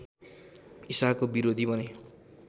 ईसाको विरोधी बने